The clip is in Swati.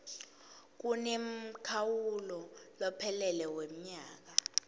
kunemkhawulo lophelele wemnyaka